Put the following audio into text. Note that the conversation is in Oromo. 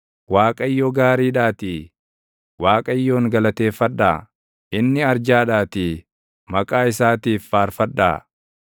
Waaqayyo gaariidhaatii, Waaqayyoon galateeffadhaa; inni arjaadhaatii maqaa isaatiif faarfadhaa.